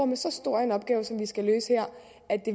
med så stor en opgave som vi skal løse her